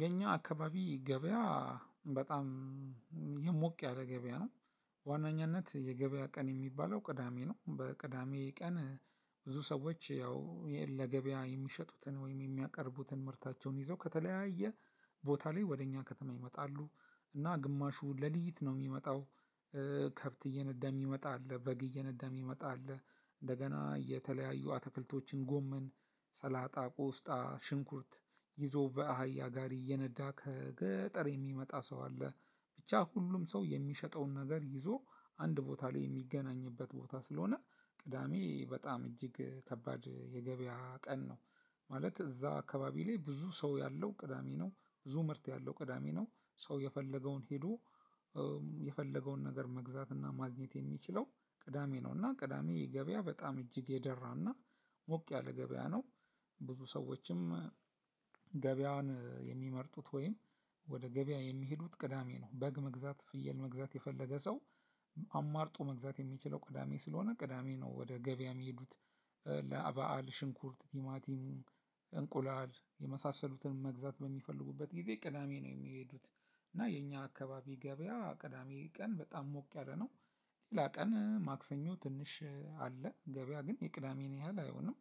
የኛ አካባቢ ገበያ በጣም ሞቅ ያለ ገበያ ነው። ዋነኛነት የገበያ ቀን የሚባለው ቅዳሜ ነው በቅዳሜ ቀን ብዙ ሰዎች ያው ለገበያ የሚሸጡትን ወይም የሚያቀርቡትን ምርታቸውን ይዘው ከተለያየ ቦታ ላይ ወደ እኛ ከተማ ይመጣሉ እና ግማሹ ለሊት ነው የሚመጣው። ከብት እየነዳ የሚመጣ አለ በግ እየነዳ የሚመጣ አለ እንደገና የተለያዩ አትክልቶችን ጎመን ሰላጣ ቆስጣ ሽንኩርት ይዞ በአህያ ጋሪ እየነዳ ከገጠር የሚመጣ ሰው አለ። ብቻ ሁሉም ሰው የሚሸጠውን ነገር ይዞ አንድ ቦታ ላይ የሚገናኝበት ቦታ ስለሆነ ቅዳሜ በጣም እጅግ ከባድ የገበያ ቀን ነው። ማለት እዛ አከባቢ ላይ ብዙ ሰው ያለው ቅዳሜ ነው ብዙ ምርት ያለው ቅዳሜ ነው። ሰው የፈለገውን ሄዶ የፈለገውን ነገር መግዛትና ማግኘት የሚችለው ቅዳሜ ነው እና ቅዳሜ ገበያ በጣም እጅግ የደራና ሞቅ ያለ ገበያ ነው። ብዙ ሰዎችም ገበያን የሚመርጡት ወይም ወደ ገበያ የሚሄዱት ቅዳሜ ነው በግ መግዛት ፍየል መግዛት የፈለገ ሰው አማርጦ መግዛት የሚችለው ቅዳሜ ስለሆን ቅዳሜ ነው። ወደ ገበያ የሚሄዱት ለበአል ሽንኩርት ቲማቲም እንቁላል የመሳሰሉትን መግዛት በሚፈልጉበት ጊዜ ቅዳሜ ነው የሚሄዱት። እና የኛ አካባቢ ገበያ ቅዳሜ ቀን በጣም ሞቅ ያለ ነው። ሌላ ቀን ማክሰኞ ትንሽ አለ ገበያ ግን የቅዳሜን ያህል አይሆንም።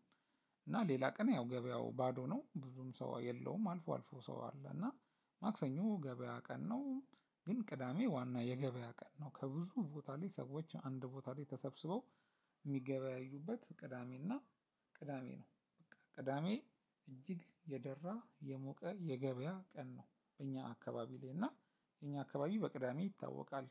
እና ሌላ ቀን ያው ገበያው ባዶ ነው ብዙም ሰው የለውም አልፎ አልፎ ሰው አለው እና ማክሰኞ ገበያ ቀን ነው። ግን ቅዳሜ ዋና የገበያ ቀን ነው። ከብዙ ቦታ ላይ ሰዎች አንድ ቦታ ላይ ተሰብስበው የሚገበያዩበት ቅዳሜ እና ቅዳሜ ነው። ቅዳሜ እጅግ የደራ የሞቀ የገበያ ቀን ነው። በእኛ አካባቢ ላይ እና የእኛ አካባቢ በቅዳሜ ይታወቃል።